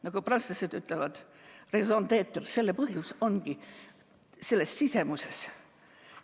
Nagu prantslased ütlevad, raison d'être, selle põhjus ongi selles sisemuses.